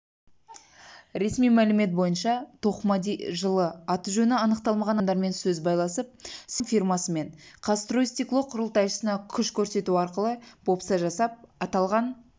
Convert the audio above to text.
ресми мәлімет бойынша тоқмади жылы аты-жөні анықталмаған адамдармен сөз байласып семрюжком фирмасы мен казстройстекло құрылтайшысына күш көрсету арқылы бопса жасап аталған